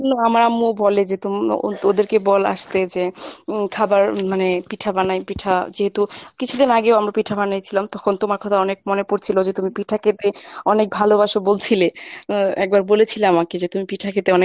হ্যা আমার আম্মু বলে যে তুমি ওদেরকে বল আস্তে যে খাবার হম মানে পিঠা বানাই পিঠা যেহেতু কিছুদিন আগেও আমরা পিঠা বানাইছিলাম তখন তোমার কথা অনেক মনে পড়ছিলো যে তুমি পিঠা খেতে অনেক ভালোবাসো বলছিলে একবার বলেছিলে আমাকে যে তুমি পিঠা খেতে অনেক